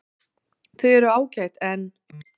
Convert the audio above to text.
Þau eru ágæt en.